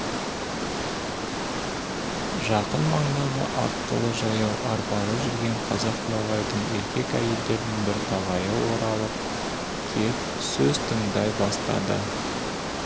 жақын маңдағы аттылы-жаяу арбалы жүрген қазақ ноғайдың еркек-әйелдердің бірталайы оралып кеп сөз тыңдай бастады